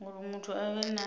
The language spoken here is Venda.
uri muthu a vhe na